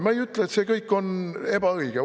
Ma ei ütle, et see kõik on ebaõige.